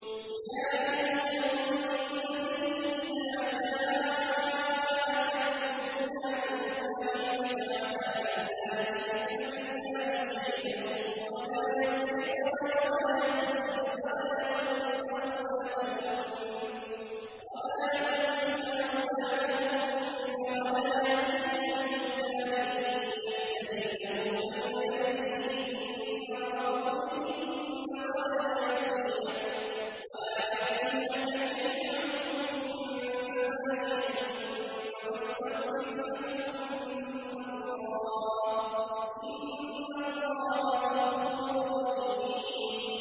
يَا أَيُّهَا النَّبِيُّ إِذَا جَاءَكَ الْمُؤْمِنَاتُ يُبَايِعْنَكَ عَلَىٰ أَن لَّا يُشْرِكْنَ بِاللَّهِ شَيْئًا وَلَا يَسْرِقْنَ وَلَا يَزْنِينَ وَلَا يَقْتُلْنَ أَوْلَادَهُنَّ وَلَا يَأْتِينَ بِبُهْتَانٍ يَفْتَرِينَهُ بَيْنَ أَيْدِيهِنَّ وَأَرْجُلِهِنَّ وَلَا يَعْصِينَكَ فِي مَعْرُوفٍ ۙ فَبَايِعْهُنَّ وَاسْتَغْفِرْ لَهُنَّ اللَّهَ ۖ إِنَّ اللَّهَ غَفُورٌ رَّحِيمٌ